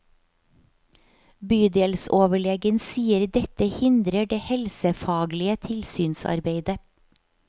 Bydelsoverlegen sier dette hindrer det helsefaglige tilsynsarbeidet.